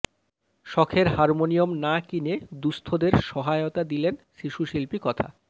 শখের হারমোনিয়াম না কিনে দুস্থদের সহায়তা দিলেন শিশু শিল্পী কথা